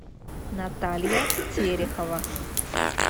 наталья терехова